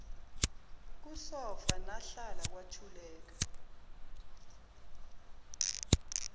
kusofa nahlala kwathuleka